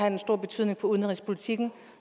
en stor betydning for udenrigspolitikken